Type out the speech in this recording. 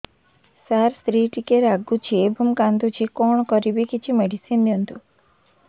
ସାର ସ୍ତ୍ରୀ ଟିକେ ରାଗୁଛି ଏବଂ କାନ୍ଦୁଛି କଣ କରିବି କିଛି ମେଡିସିନ ଦିଅନ୍ତୁ